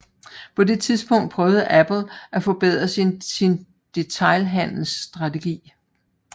På det tidspunkt prøvede Apple at forbedre sin detailhandelsstrategi